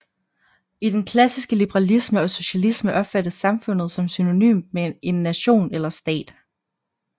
I den klassiske liberalisme og socialisme opfattes samfundet som synonymt med en nation eller stat